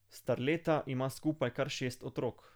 Starleta ima skupaj kar šest otrok.